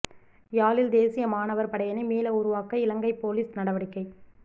யாழில் தேசிய மாணவர் படையணி மீள உருவாக்க இலங்கை பொலிஸ் நடவடிக்கை